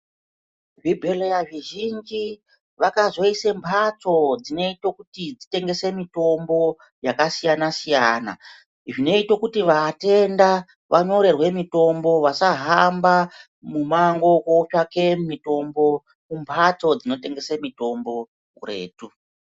Zvibhedhleya zvizhinji vakazoise mphatso dzinoite kuti dzitengese mitombo yakasiyana-siyana zvinoite kuti vatenda vanyorerwa mitombo vasahamba mumango kootsvake mitonbo kumphatso dzinotengese mitombo kuretu.